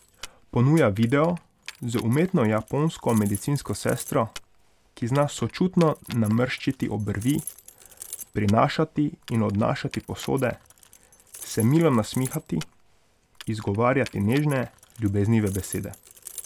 Ponuja video z umetno japonsko medicinsko sestro, ki zna sočutno namrščiti obrvi, prinašati in odnašati posode, se milo nasmihati, izgovarjati nežne, ljubeznive besede.